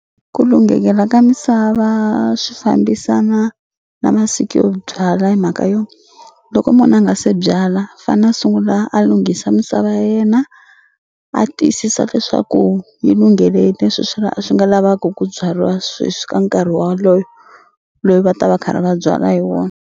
Ku lunghekela ka misava swi fambisana na masiku yo byala hi mhaka yo loko munhu a nga se byala fana sungula a lunghisa misava ya yena a tiyisisa leswaku yi lunghele leswi swi swi nga lavaku ku byariwa sweswi ka nkarhi waloyo loyi va ta va karhi va byala hi wona.